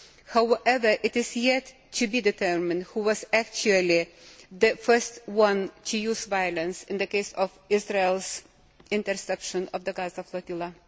However, it has yet to be determined who was actually the first to use violence in the case of Israel's interception of the Gaza flotilla.